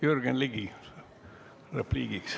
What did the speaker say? Jürgen Ligi, sõna repliigiks.